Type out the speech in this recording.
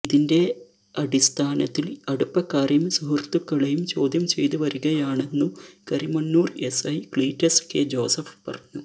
ഇതിന്റെ അടിസ്ഥാനത്തില് അടുപ്പക്കാരെയും സുഹൃത്തുക്കളെയും ചോദ്യം ചെയ്ത് വരികയാണെന്നു Karimannoor SI Cletus K Joseph പറഞ്ഞു